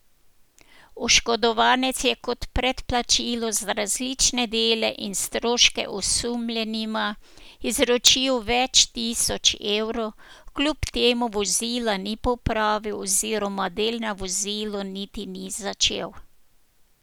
Oškodovanec je kot predplačilo za različne dele in stroške osumljenima izročil več tisoč evrov, kljub temu vozila ni popravil oziroma del na vozilu niti ni začel.